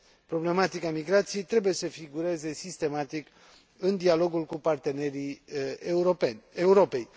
Problematica migrației trebuie să figureze sistematic în dialogul cu partenerii Europei.